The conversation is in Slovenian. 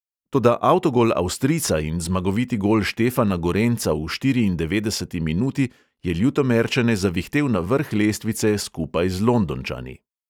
Toda avtogol avstrijca in zmagoviti gol štefana gorenca v štiriindevetdeseti minuti je ljutomerčane zavihtel na vrh lestvice skupaj z londončani.